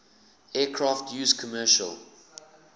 aircraft used commercial